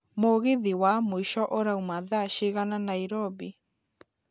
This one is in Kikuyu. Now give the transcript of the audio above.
mũgithi wa mũico ũrauma thaa cigana nairobi